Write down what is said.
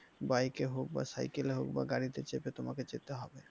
Bike এ হোক বা সাইকেলে হোক বা গাড়িতে চেপে তোমাকে যেতে হবে।